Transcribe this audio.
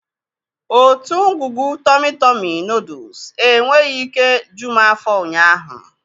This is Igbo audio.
Otu ngwugwu tọmị tọmị nọọdụs enweghị ike ju m afọ ụnyaahụ.